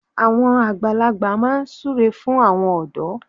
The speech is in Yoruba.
Àwọn àgbàlagbà máa ń súre fún àwọn ọ̀dọ́